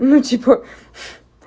ну типа